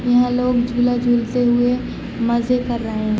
यहाँ लोग झूला झूलते हुए मजे कर रहे है।